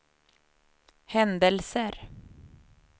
händelser